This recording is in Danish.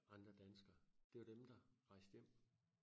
Andre danskere det var dem der rejste hjem